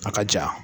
A ka ja